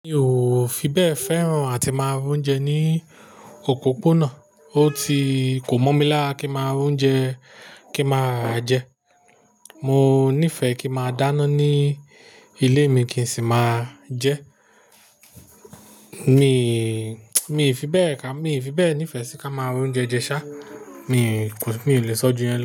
Mi ò fi bẹ́ẹ̀ fẹ́ràn àti máa ra ounje ní òpópónà. Ó ti kò mọ̀ mi lá kí máa ń jẹun kí máa ra jẹ. Mo nífẹ̀ẹ́ kí a máa dáná ní ilé mi kí n sì máa jẹ. Mi, mi fi bẹ́ẹ̀ ká, mi fi bẹ́ẹ̀ nífẹ̀ẹ́ sí ká máa ra ounjẹ jẹ sá. Mi kò, mi ò lè sọ́jú yẹn.